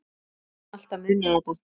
Ég mun alltaf muna þetta.